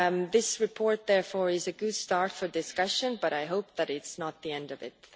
This report is therefore a good start for discussion, but I hope that it is not the end of it.